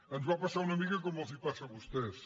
ens va passar una mica com els passa a vostès